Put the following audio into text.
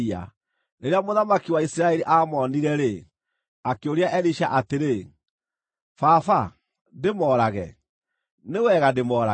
Rĩrĩa mũthamaki wa Isiraeli aamoonire-rĩ, akĩũria Elisha atĩrĩ, “Baba ndĩmoorage? Nĩ wega ndĩmoorage?”